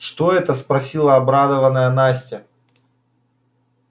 что это спросила обрадованная настя